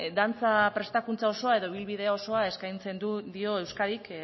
dantza prestakuntza osoa edo ibilbide osoa eskaintzen dio euskadik